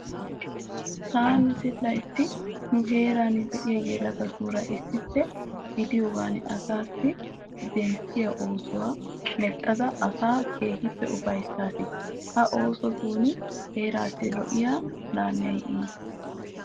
Taani zilayitti nu heeran de'iya yelagatuura issippe gidiyogaan asaa denttettiya oosuwa mexxada asaa keehippe ufayissaas. Ha oosotun heeraassi lo'iya laamee yiis.